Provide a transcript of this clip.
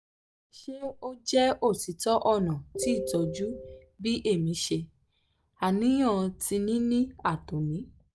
ṣe o jẹ otitọ ọna ti itọju bi emi ṣe aniyan ti nini ato nil